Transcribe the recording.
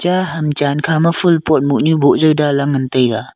ham chan khama phul pot mohnu boh jaw dan lah ngan taiga.